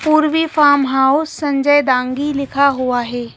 पूर्वी farm house Sanjay Dangi लिखा हुआ है।